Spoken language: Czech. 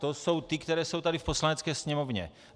To jsou ty, které jsou tady v Poslanecké sněmovně.